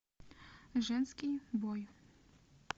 женский бой